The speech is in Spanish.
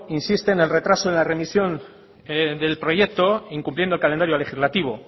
insiste en el retraso en la remisión del proyecto incumpliendo el calendario legislativo